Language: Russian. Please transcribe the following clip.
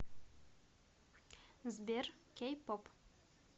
сбер кей поп